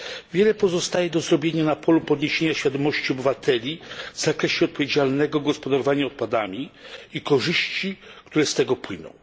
Wiele pozostaje do zrobienia na polu zwiększenia świadomości obywateli w zakresie odpowiedzialnego gospodarowania odpadami i korzyści, które z tego płyną.